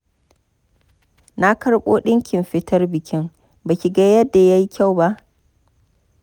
Na karɓo ɗinkin fitar bikin, ba ki ga yadda ya yi kyau ba.